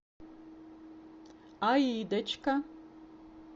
аидочка